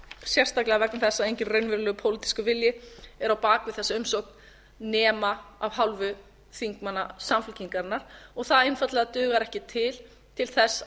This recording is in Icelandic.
sérstaklega vegna þess að enginn raunverulegur pólitískur vilji er á bak við þessa umsókn nema af hálfu þingmanna samfylkingarinnar og það einfaldlega dugar ekki til til þess að